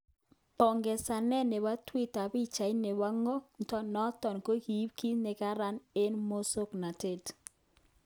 Pongezanet nebo twitter pichait nebo ngo kto noton kokiib kit nekorom eng musoknotet .